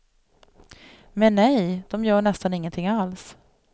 Men nej, de gör nästan ingenting alls.